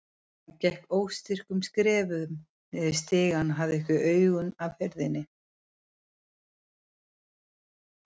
Hann gekk óstyrkum skrefum niður stigann og hafði ekki augun af hurðinni.